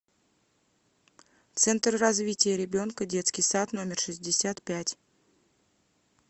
центр развития ребенка детский сад номер шестьдесят пять